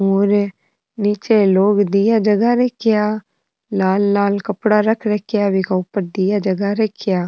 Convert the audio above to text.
और नीच लोग दिया जला रखिये लाल लाल कपडा रख रखिया बिक ऊपर दिया जला रखिया।